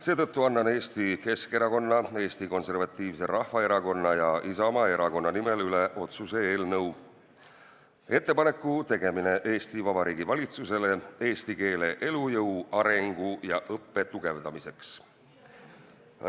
Seetõttu annan Eesti Keskerakonna, Eesti Konservatiivse Rahvaerakonna ja Isamaa erakonna nimel üle otsuse "Ettepaneku tegemine Vabariigi Valitsusele eesti keele elujõu, arengu ja õppe tugevdamiseks" eelnõu.